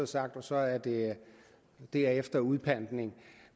sagt at så er det derefter udpantning